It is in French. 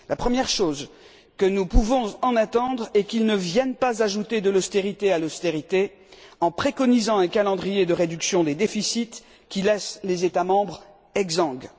La première chose que nous pouvons en attendre est qu'il ne vienne pas ajouter de l'austérité à l'austérité, en préconisant un calendrier de réduction des déficits qui laisse les États membres exsangues.